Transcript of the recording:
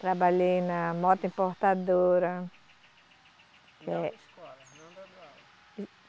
Trabalhei na moto importadora. Não dando aula